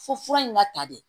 Fo fura in ma ta de